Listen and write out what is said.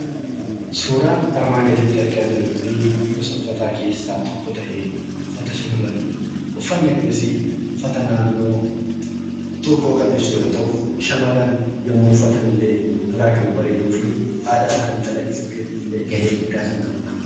Suuraan armaan gaditti arga jiruu kun gosa uffata keessa tokko ta'e ,uffata shamarranidha. uffanni kunis uffata naannoo tokko kan ibsu yoo ta'u, shamarran yemmuu uffatan illee irraa kan bareeduu fi aadaa isaani calaqqisuu keessattillee ga'ee guddaa kan qabudha.